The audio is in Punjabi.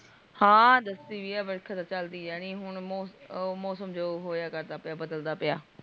ਹਾਂ ਦੱਸੀ ਵੀ ਹੈ ਬਰਖਾ ਤ ਚਲਦੀ ਰਹਨਿ ਹੁਣ ਮੌਸਮ ਜੋ ਹੋਆ ਕਰਦਾ ਵ ਬਦਲਦਾ ਪਿਆ